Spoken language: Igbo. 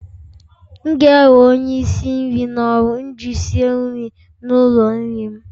M ga-ewe onye isi nri n'ọrụ iji sie nri n'ụlọ nri m